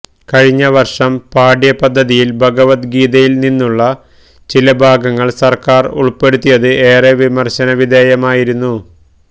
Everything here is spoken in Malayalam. കഴിഞ്ഞ വര്ഷം പാഠ്യ പദ്ധതിയില് ഭഗവദ് ഗീതയില് നിന്നുമുള്ള ചില ഭാഗങ്ങള് സര്ക്കാര് ഉള്പ്പെടുത്തിയത് ഏറെ വിമര്ശന വിധേയമായിരുന്നു